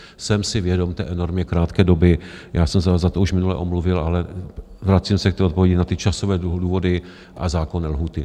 Jsem si vědom té enormně krátké doby, já jsem se za to už minule omluvil, ale vracím se k té odpovědi na ty časové důvody a zákonné lhůty.